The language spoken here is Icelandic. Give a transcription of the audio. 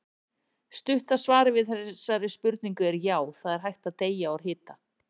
Stutta svarið við þessari spurningu er já, það er hægt að deyja úr hita.